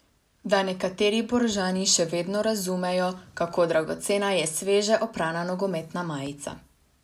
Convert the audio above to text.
Da nekateri Boržani še vedno razumejo, kako dragocena je sveže oprana nogometna majica.